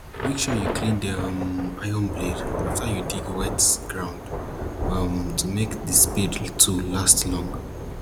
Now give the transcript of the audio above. make sure you clean the um iron blade after you dig wet ground um to make the spade tools last long